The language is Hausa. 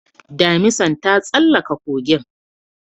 Damisan ta tsallaka kogin